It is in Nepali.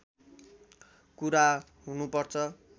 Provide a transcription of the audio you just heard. कुरा हुनुपर्छ